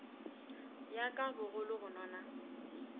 ya ka bogolo go nona